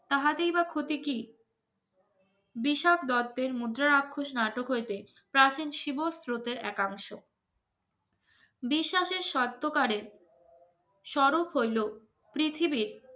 তাহাতেই বা ক্ষতি কি বিশাল দত্তের মুদ্রারাক্ষস নাটক হইতে প্রাচীন শিবস্রোতের একাংশ বিশ্বাসের শর্তকারে সরল হল পৃথিবীর